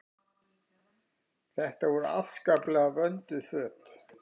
Þetta voru afskaplega vönduð föt.